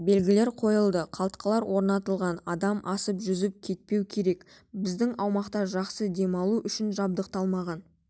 белгілері қойылды қалтқылар орнатылған одан асып жүзіп кетпеу керек біздің аймақта жақсы демалу үшін жабдықталмаған